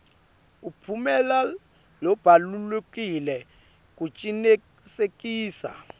umphumela lobalulekile kucinisekisa